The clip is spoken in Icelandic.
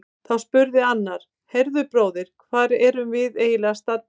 Þá spurði annar: Heyrðu bróðir, hvar erum við eiginlega staddir?